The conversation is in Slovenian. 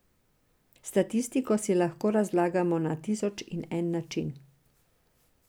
Statistiko si lahko razlagamo na tisoč in en način.